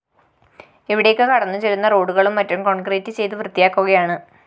ഇവിടേക്ക് കടന്നുചെല്ലുന്ന റോഡുകളും മറ്റും കോണ്‍ക്രീറ്റ്‌ചെയ്ത് വൃത്തിയാക്കുകയാണ്